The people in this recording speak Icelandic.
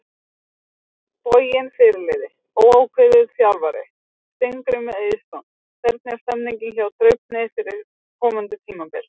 Heimavöllur: Boginn Fyrirliði: Óákveðið Þjálfari: Steingrímur Eiðsson Hvernig er stemningin hjá Draupni fyrir komandi tímabil?